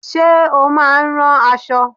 Ṣé o máa ń rán aṣọ?